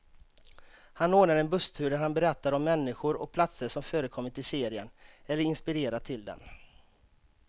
Han ordnar en busstur där han berättar om människor och platser som förekommit i serien, eller inspirerat till den.